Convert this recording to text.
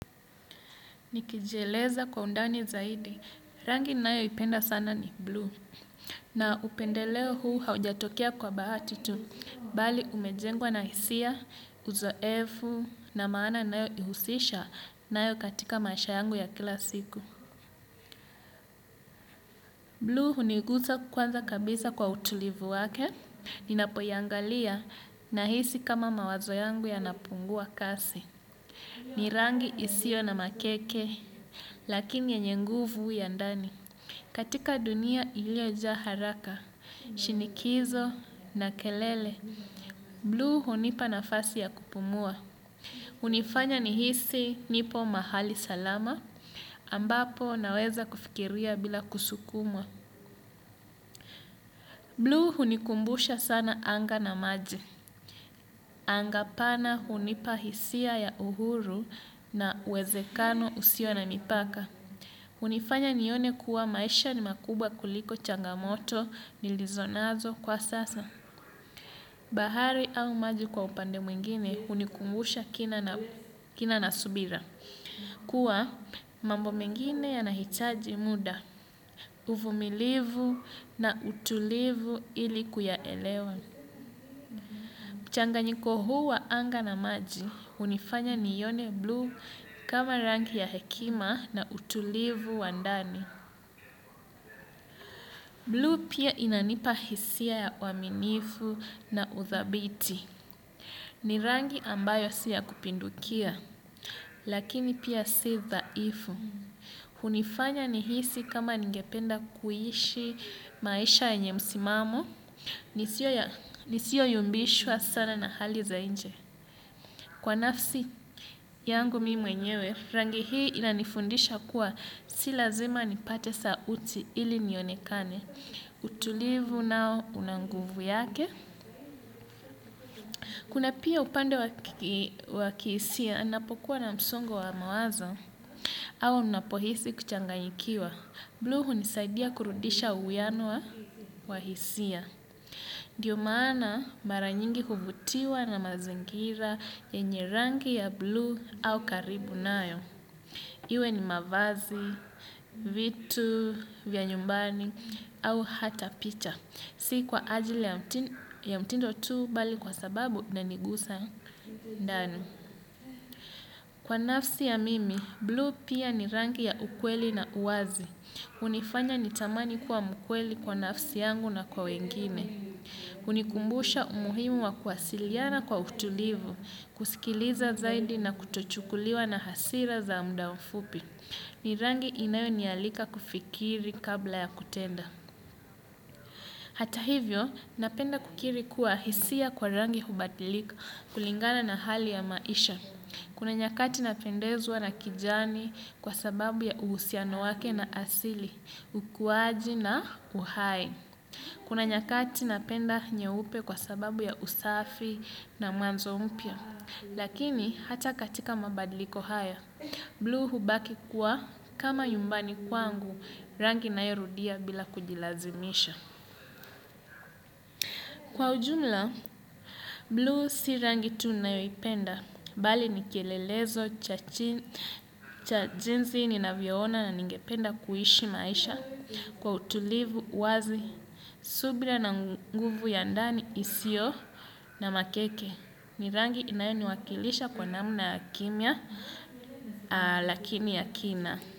Nikijieleza kwa undani zaidi, rangi nayoipenda sana ni blue. Na upendeleo huu haujatokea kwa bahati tu, bali umejengwa na hisia, uzoefu na maana nayoihusisha nayo katika maisha yangu ya kila siku. Blue hunigusa kwanza kabisa kwa utulivu wake, ninapoiangalia nahisi kama mawazo yangu yanapungua kasi. Ni rangi isiyo na makeke, lakini yenye nguvu ya ndani. Katika dunia iliojaa haraka, shinikizo na kelele. Blue hunipa nafasi ya kupumua. Hunifanya nihisi nipo mahali salama, ambapo naweza kufikiria bila kusukumwa. Blue hunikumbusha sana anga na maji. Anga pana hunipa hisia ya uhuru na uwezekano usio na nipaka. Hunifanya nione kuwa maisha ni makubwa kuliko changamoto nilizonazo kwa sasa. Bahari au maji kwa upande mwingine hunikumbusha kina na subira. Kuwa mambo mengine yanahitaji muda, uvumilivu na utulivu ili kuyaelewa. Changanyiko huu wa anga na maji, hunifanya niione blue kama rangi ya hekima na utulivu wa ndani. Blue pia inanipa hisia ya uaminifu na uthabiti. Ni rangi ambayo si ya kupindukia, lakini pia si dhaifu. Hunifanya nihisi kama ningependa kuishi maisha yenye msimamo. Nisioyumbishwa sana na hali za nje. Kwa nafsi yangu mimi mwenyewe, rangi hii inanifundisha kuwa si lazima nipate sauti ili nionekane. Utulivu nao una nguvu yake. Kuna pia upande wa kihisia napokuwa na msongo wa mawazo au ninapohisi kuchanganyikiwa. Blue hunisaidia kurudisha uhiano wa hisia. Ndio maana mara nyingi huvutiwa na mazingira yenye rangi ya blue au karibu nayo. Iwe ni mavazi, vitu, vya nyumbani, au hata picha. Si kwa ajili ya mtindo tu bali kwa sababu inanigusa ndani. Kwa nafsi ya mimi, blue pia ni rangi ya ukweli na uwazi. Hunifanya ni tamani kuwa mkweli kwa nafsi yangu na kwa wengine. Hunikumbusha umuhimu wa kuwasiliana kwa utulivu, kusikiliza zaidi na kutochukuliwa na hasira za muda mfupi. Ni rangi inayonialika kufikiri kabla ya kutenda. Hata hivyo, napenda kukiri kuwa hisia kwa rangi hubadilika kulingana na hali ya maisha. Kuna nyakati napendezwa na kijani kwa sababu ya uhusiano wake na asili, ukuwaji na uhai. Kuna nyakati napenda nyeupe kwa sababu ya usafi na mwanzo mpya. Lakini, hata katika mabadiliko haya. Blue hubaki kuwa kama nyumbani kwangu rangi nayo rudia bila kujilazimisha. Kwa ujumla, blue si rangi tu nayoipenda. Bali ni kielelezo cha jinsi ninavyoona na ningependa kuishi maisha. Kwa utulivu wazi, subira na nguvu ya ndani isiyo na makeke. Ni rangi inayoniwakilisha kwa namna kimya lakini ya kina.